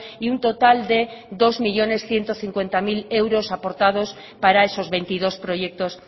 y un total dos millónes ciento cincuenta mil euros aportados para esos veintidós proyectos